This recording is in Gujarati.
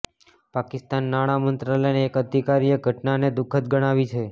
પાકિસ્તાના નાણાં મંત્રાલયના એક અધિકારીએ ઘટનાને દુખદ ગણાવી છે